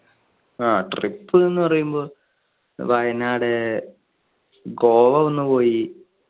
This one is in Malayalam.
ആ trip എന്ന് പറയുമ്പോൾ വയനാട്, ഗോവ ഒന്ന് പോയി.